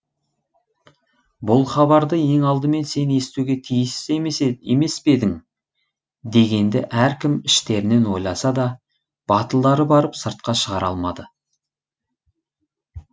бұл хабарды ең алдымен сен естуге тиіс емес пе едің дегенді әркім іштерінен ойласа да батылдары барып сыртқа шығара алмады